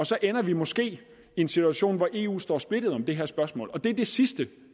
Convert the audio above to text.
så ender vi måske i en situation hvor eu står splittet i det her spørgsmål og det er det sidste